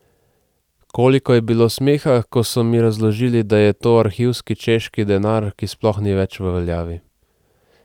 Koliko je bilo smeha, ko so mi razložili, da je to arhivski češki denar, ki sploh ni več v veljavi.